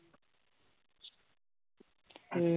ਹਮ